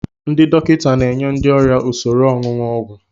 Ndị dọkịta na enye ndị ọrịa usoro ọṅụṅụ ọgwụ.